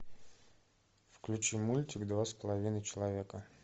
включи мультик два с половиной человека